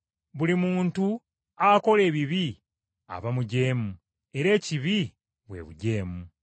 Buli muntu akola ebibi aba mujeemu, era ekibi bwe bujeemu.